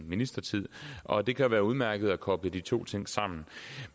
ministertid og det kan jo være udmærket at koble de to ting sammen